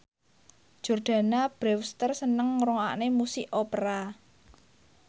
Jordana Brewster seneng ngrungokne musik opera